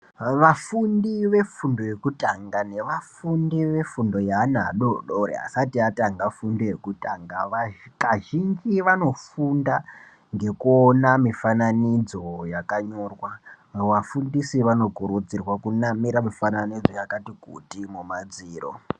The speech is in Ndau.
Vafundi vefundo yekutanga nevafundi vefundo yeana adoodori asati atanga fundo yekutanga kazhinji vanofunda ngekuona mifananidzo yakanyorwa, vafundisi vanokurudzirwa kunamira mifananidzo yakati kuti mumadziro